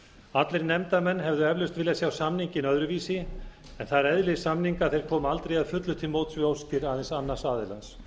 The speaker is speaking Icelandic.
allir nefndarmenn hefðu eflaust vilja sjá samninginn öðru vísi en það er eðli samninga að þeir koma aldrei að fullu til móts við óskir aðeins annars aðilans